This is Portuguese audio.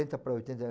para oitenta